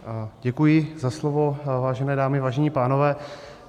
Děkuji za slovo, vážené dámy, vážení pánové.